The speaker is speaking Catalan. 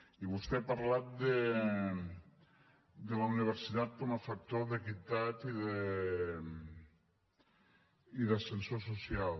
i vostè ha parlat de la universitat com a factor d’equitat i d’ascensor social